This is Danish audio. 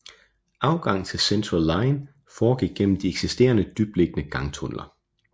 Adgang til Central line foregik gennem de eksisterende dybtliggende gangtunneller